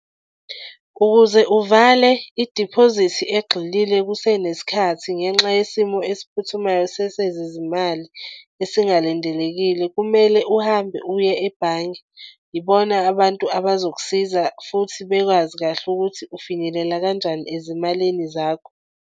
Ukuze uvale idiphozithi egxilile kusenesikhathi ngenxa yesimo esiphuthumayo sesezezimali esingalindelekile kumele uhambe uye ebhange, ibona abantu abazokusiza futhi bekwazi kahle ukuthi ufinyelela kanjani ezimalini zakho.